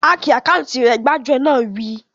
Háki àkáùntì rẹ̀! Gbájúẹ̀ náà wí